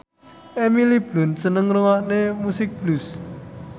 Emily Blunt seneng ngrungokne musik blues